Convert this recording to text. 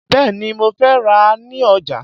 Bẹ́ẹ̀ni, mo fẹ́ rà á ní ọjà